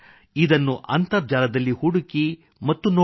ಇದನ್ನು ಅಂತರ್ಜಾಲದಲ್ಲಿ ಹುಡುಕಿ ಮತ್ತು ನೋಡಿ